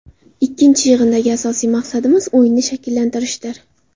Ikkinchi yig‘indagi asosiy maqsadimiz o‘yinni shakllantirishdir.